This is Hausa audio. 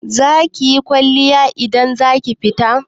Zakiyi kwalliya idan zaki fita?